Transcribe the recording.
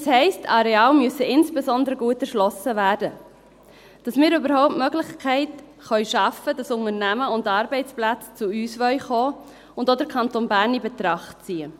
Das heisst: Areale müssen insbesondere gut erschlossen werden, damit wir überhaupt die Möglichkeit schaffen können, dass Unternehmen und Arbeitsplätze zu uns kommen wollen und auch den Kanton Bern in Betracht ziehen.